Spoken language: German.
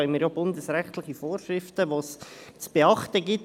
Wir haben hier bundesrechtliche Vorschriften zu beachten.